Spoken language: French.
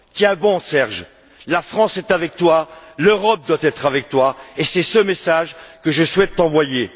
Tiens bon, Serge, la France est avec toi, l'Europe doit être avec toi. C'est ce message que je souhaite t'envoyer.